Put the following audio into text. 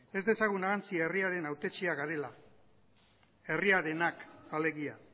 ez dezagun ahantzi herriaren hautetsiak garela herriarenak alegia